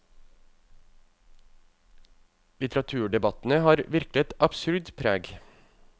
Litteraturdebattene har virkelig et absurd preg.